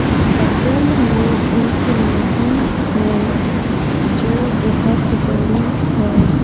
बगल में एक नदी है जो बहुत बड़ी है।